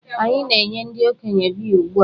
Anyị na-enye ndị okenye biya ugbu a.